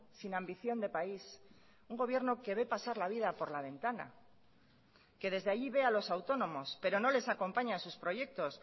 sin ambición de país un gobierno que ve pasar la vida por la ventana que desde allí ve a los autónomos pero no les acompaña a sus proyectos